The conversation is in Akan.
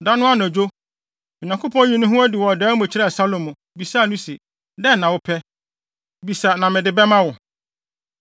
Da no anadwo, Onyankopɔn yii ne ho adi wɔ dae mu kyerɛɛ Salomo, bisaa no se, “Dɛn na wopɛ? Bisa na mede bɛma wo!”